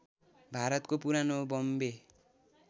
भारतको पुरानो बम्बे